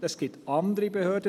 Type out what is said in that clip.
Es gibt andere Behörden.